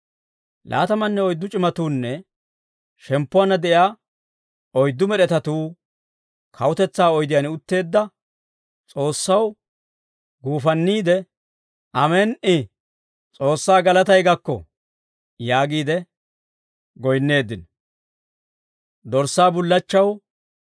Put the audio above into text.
Laatamanne oyddu c'imatuunne shemppuwaanna de'iyaa oyddu med'etatuu kawutetsaa oydiyaan utteedda S'oossaw guufanniide, «Amen"i. S'oossaa galatay gakko» yaagiide goyinneeddino.